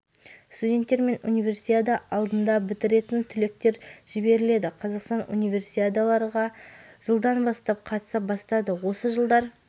студенттер және универсиада алдында бітіретін түлектер жіберіледі қазақстан универсиадаларға жылдан бастап қатыса бастады осы жылдар